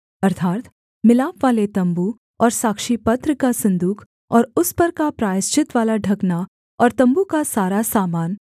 अर्थात् मिलापवाले तम्बू और साक्षीपत्र का सन्दूक और उस पर का प्रायश्चितवाला ढकना और तम्बू का सारा सामान